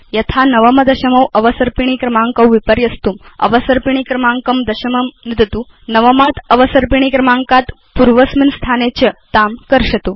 यथा नवम दशमौ अवसर्पिणी क्रमाङ्कौ विपर्यस्तुं अवसर्पिणी क्रमाङ्कं दशमं नुदतु नवमात् अवसर्पिणी क्रमाङ्कात् पूर्वस्मिन् स्थाने च तां कर्षतु